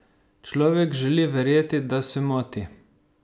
Človek želi verjeti, da se moti.